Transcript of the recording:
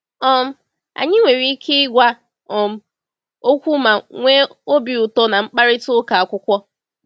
um Anyị nwere ike ịgwa um okwu ma nwee obi ụtọ na mkparịta ụka akwụkwọ.